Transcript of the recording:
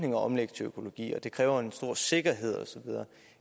at omlægge til økologi og at det kræver en stor sikkerhed osv